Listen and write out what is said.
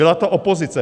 Byla to opozice!